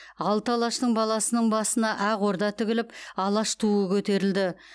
алты алаштың баласының басына ақ орда тігіліп алаш туы көтерілді